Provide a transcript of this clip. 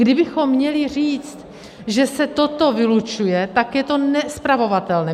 Kdybychom měli říct, že se toto vylučuje, tak je to nespravovatelné.